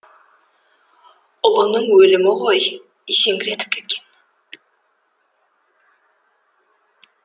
ұлының өлімі ғой есеңгіретіп кеткен